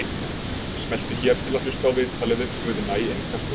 Smelltu hér til að hlusta á viðtalið við Guðna í Innkastinu